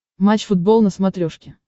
матч футбол на смотрешке